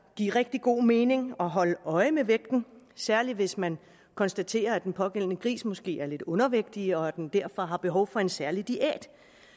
give rigtig god mening at holde øje med vægten særlig hvis man konstaterer at den pågældende gris måske er lidt undervægtig og at den derfor har behov for en særlig diæt